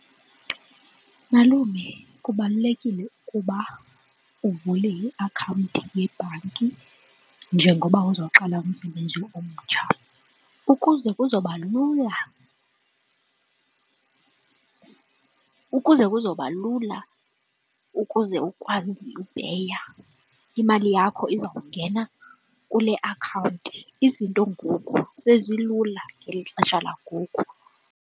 Malume, kubalulekile ukuba uvule iakhawunti yebhanki njengoba uzoqala umsebenzi omtsha ukuze kuzoba lula ukuze kuzoba lula ukuze ukwazi upeya imali yakho izawungena kule akhawunti izinto ngoku sezilula ngeli xesha langoku.